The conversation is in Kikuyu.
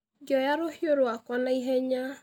Ngĩoya rũhiũ rwakwa na ihenya.